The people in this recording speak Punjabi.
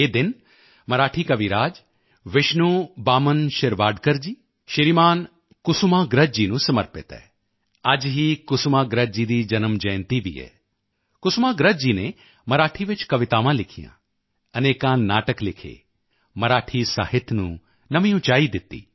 ਇਹ ਦਿਨ ਮਰਾਠੀ ਕਵੀ ਰਾਜ ਵਿਸ਼ਨੂ ਬਾਮਨ ਸ਼ਿਰਵਾਡਕਰ ਜੀ ਸ਼੍ਰੀਮਾਨ ਕੁਸੁਮਾਗ੍ਰਜ ਜੀ ਨੂੰ ਸਮਰਪਿਤ ਹੈ ਅੱਜ ਹੀ ਕੁਸੁਮਾਗ੍ਰਜ ਜੀ ਦੀ ਜਨਮ ਜਯੰਤੀ ਵੀ ਹੈ ਕੁਸੁਮਾਗ੍ਰਜ ਜੀ ਨੇ ਮਰਾਠੀ ਵਿੱਚ ਕਵਿਤਾਵਾਂ ਲਿਖੀਆਂ ਅਨੇਕਾਂ ਨਾਟਕ ਲਿਖੇ ਮਰਾਠੀ ਸਾਹਿਤ ਨੂੰ ਨਵੀਂ ਉਚਾਈ ਦਿੱਤੀ